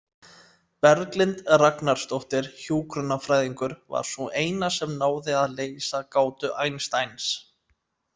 Berglind Ragnarsdóttir hjúkrunarfræðingur var sú eina sem náði að leysa gátu Einsteins.